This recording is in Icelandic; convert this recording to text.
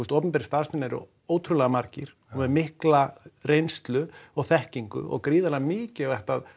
opinberir starfsmenn eru ótrúlega margir og með mikla reynslu og þekkingu og gríðarlega mikilvægt að